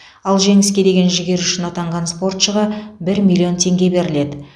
ал жеңіске деген жігері үшін атанған спортшыға бір миллион теңге беріледі